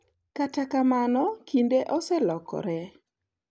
Kata kamano kinde oselokore.